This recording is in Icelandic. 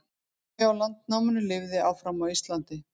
áhugi á landnáminu lifði áfram á íslandi